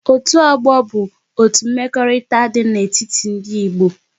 Otu ọgbọ bụ otu mmekọrịta dị n'etiti ndị Igbo